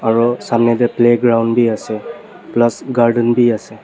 aro samnae tae playground biase plus garden bi ase.